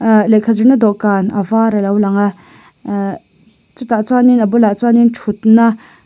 ah lehkha zir na dawh kan a var alo lang a ahh chutah chuan in a bulah chuan thutna --